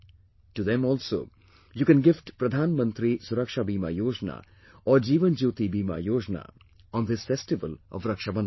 To them also, you can gift Pradhan Mantri Suraksha Bima Yojna or Jeevan Jyoti Bima Yojna on this festival of Raksha Bandhan